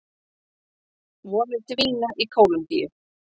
Vonir dvína í Kólumbíu